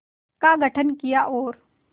का गठन किया और